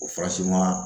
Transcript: O farasi ma